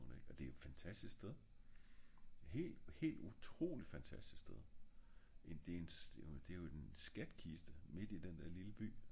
og det er jo et fantastisk sted helt helt utroligt fantastisk sted en der er jo en skatkiste midt i den lille by